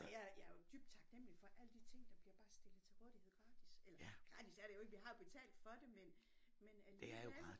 Jeg jeg er jo dybt taknemmelig for alle de ting der bliver bare stillet til rådighed gratis eller gratis er det jo ikke vi har betalt for det men men alligevel